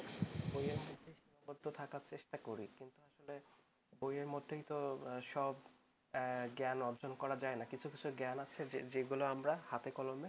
বইয়ের মধ্যে থাকার চেষ্টা করি বইয়ের মধ্যে তো সব জ্ঞান অর্জন করা যায় না কিছু কিছু জ্ঞান আছে যেগুলো আমরা হাতে কলমে